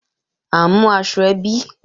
À ń mú aṣọ ẹbí